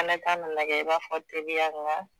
Fana kan'a lajɛ i b'a fɔ teriya